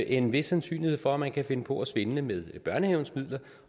en vis sandsynlighed for at man kan finde på at svindle med børnehavens midler